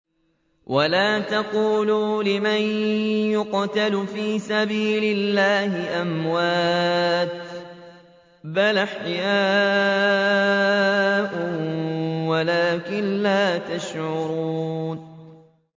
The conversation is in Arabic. وَلَا تَقُولُوا لِمَن يُقْتَلُ فِي سَبِيلِ اللَّهِ أَمْوَاتٌ ۚ بَلْ أَحْيَاءٌ وَلَٰكِن لَّا تَشْعُرُونَ